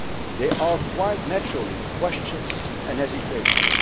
easy. There are, quite naturally, questions and hesitations.